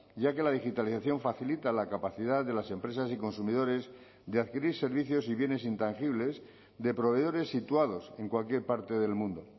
ya que la digitalización facilita la capacidad de las empresas y consumidores de adquirir servicios y bienes intangibles de proveedores situados en cualquier parte del mundo